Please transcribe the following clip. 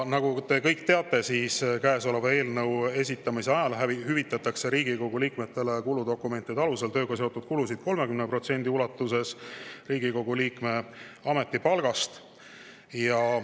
Nagu te kõik teate, hüvitatakse käesoleva eelnõu esitamise ajal Riigikogu liikmetele kuludokumentide alusel tööga seotud kulusid 30% ulatuses Riigikogu liikme ametipalgast.